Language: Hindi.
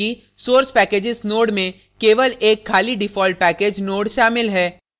ध्यान दें कि source packages node में केवल एक खाली default package node शामिल है